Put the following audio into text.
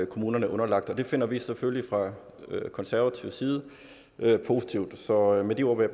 kommunerne er underlagt og det finder vi selvfølgelig fra konservativ side positivt så med de ord vil